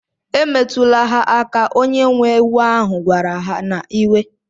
Emetụla ha aka! onye nwe ewu ahu kwara ha n'iwe.